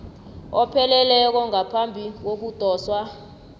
opheleleko ngaphambi kokudoswa